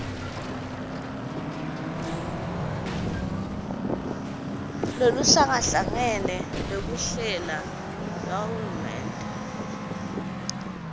loluhlangahlangene lwekuhlela lwahulumende